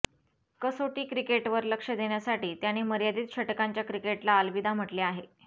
कसोटी क्रिकेटवर लक्ष देण्यासाठी त्याने मर्यादित षटकांच्या क्रिकेटला अलविदा म्हटले आहे